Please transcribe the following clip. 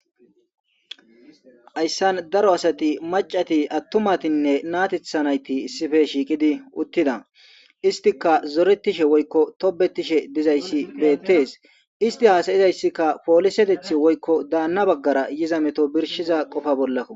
hayssan daro asati macati attumatinne naatethanayti issife shiikidi uttida istika zoretishe woykko tobetishe dizayssi beettes isti haasayizayssikka polisetethi woykko daanna baggara yiza meto birshiza qofa bollakko